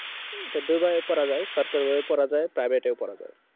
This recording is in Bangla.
এটা দু ভাবে পড়া যায় সরকারি ভাবেও পড়া যায় Private এও পড়া যায়